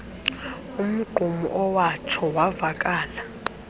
umgqumo owatsho wavaleka